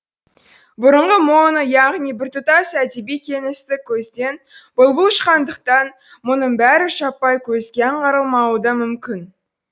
бұрынғы моно яғни біртұтас әдеби кеңістік көзден бұлбұл ұшқандықтан мұның бәрі жаппай көзге аңғарылмауы да мүмкін